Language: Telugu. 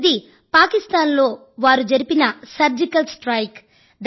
మొదటిది పాకిస్తాన్ లో వారు జరిపిన సర్జికల్ స్ట్రైక్